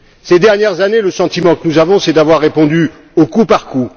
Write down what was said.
Ces dernières années, le sentiment que nous avons, c'est d'avoir répondu au coup par coup.